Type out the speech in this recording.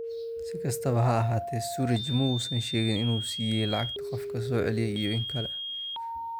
Si kastaba ha ahaatee Sturridge ma uusan sheegin in uu siiyay lacagta qofka soo celiyay iyo in kale.